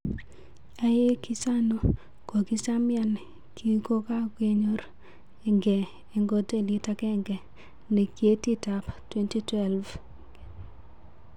aeg ichano kokichamian kikongayor nge en hotelit agenge en kyetit ap 2012